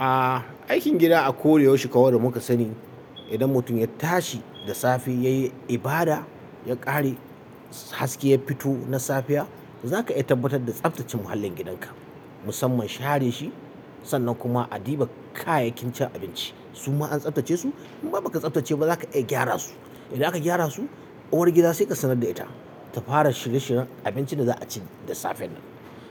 A aikin gida a koda yaushe kamar da muka sani. Idan mutum ya tashi da safe yayi ibada, ya ƙare haske ya fito na safiya, zaka iya tabbatar da tsaftace muhallin gidanka, musamman share shi. Sannan kuma a diba kayakin cin abinci. Su ma an tsaftace su inma baka tsaftace ba zaka iya gyara su. Idan aka gyara su, uwar gida sai ka sanar da ita ta fara shirye shiren abincin da za a ci da safen nan.